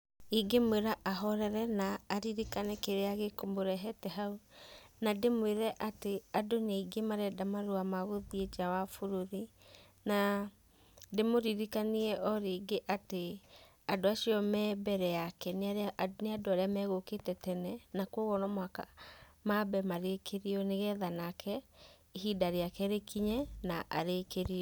Ingĩmwĩra ahorere na aririkane kĩrĩa gĩkũmũrehete hau, na ndĩmwĩre atĩ andũ nĩ aingĩ marenda marũa ma gũthiĩ nja wa bũrũri. Na ndĩmũririkanie o rĩngĩ atĩ andũ acio me mbere yake nĩ andũ arĩa megũkĩte tene, na koguo no mũhaka mambe marĩkĩrio nĩgetha nake ihinda rĩake rĩkinye na arĩkĩrio.